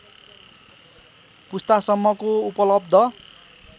पुस्ता सम्मको उपलब्ध